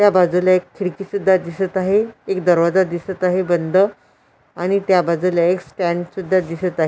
त्या बाजूला एक खिडकी सुद्धा दिसत आहे एक दरवाजा दिसत आहे बंद आणि त्या बाजूला एक स्टँड सुद्धा दिसत आहे.